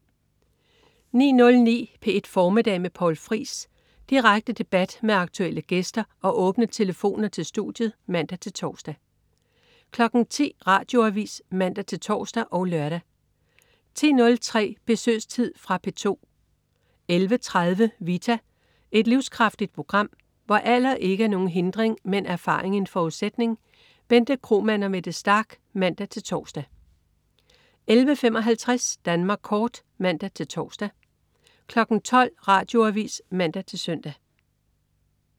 09.09 P1 Formiddag med Poul Friis. Direkte debat med aktuelle gæster og åbne telefoner til studiet (man-tors) 10.00 Radioavis (man-tors og lør) 10.03 Besøgstid. Fra P2 11.30 Vita. Et livskraftigt program, hvor alder ikke er nogen hindring, men erfaring en forudsætning. Bente Kromann og Mette Starch (man-tors) 11.55 Danmark Kort (man-tors) 12.00 Radioavis (man-søn)